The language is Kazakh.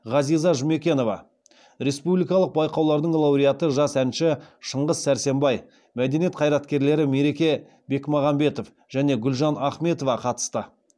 ғазиза жұмекенова республикалық байқаулардың лауреаты жас әнші шыңғыс сәрсенбай мәдениет қайраткерлері мереке бекмағамбетов және гүлжан ахметова қатысты